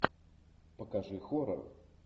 покажи хоррор